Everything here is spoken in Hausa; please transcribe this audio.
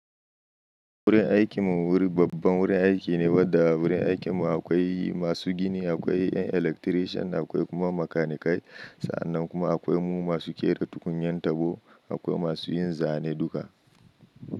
Wurin aikin mu wuri babban wurin aiki ne, wadda wurin aikin mu akwai masu gini, akwai 'yan electrician, akwai kuma makanikai. Sa'annan kuma akwai mu masu kera tukunyan tabo, akwai masu yin zane duka.